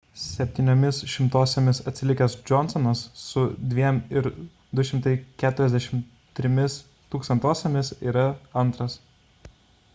septyniomis šimtosiomis atsilikęs johnsonas su 2,243 yra antras